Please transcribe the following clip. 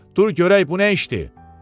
Dur görək bu nə işdir?